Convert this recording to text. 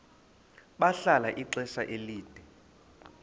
bahlala ixesha elide